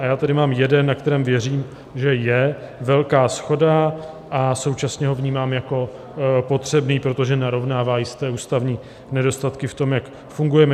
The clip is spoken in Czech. A já tady mám jeden, na kterém věřím, že je velká shoda, a současně ho vnímám jako potřebný, protože narovnává jisté ústavní nedostatky v tom, jak fungujeme.